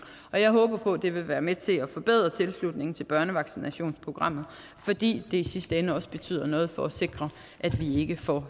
og jeg håber på at det vil være med til at forbedre tilslutningen til børnevaccinationsprogrammet fordi det i sidste ende også betyder noget for at sikre at vi ikke får